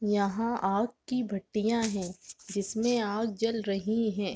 यहाँ आग की भट्टियां है जिसमें आग जल रही है।